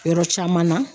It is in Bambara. Yɔrɔ caman na